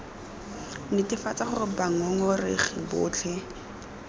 netefatsa gore bangong oregi botlhe